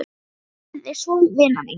Ég kveð þig svo vina mín.